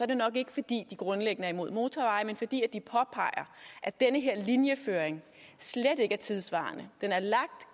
det nok ikke fordi de grundlæggende er imod motorveje men fordi de påpeger at den her linjeføring slet ikke er tidssvarende den er lagt